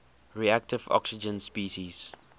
reactive oxygen species